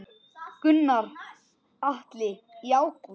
Gunnar Atli: Í ágúst?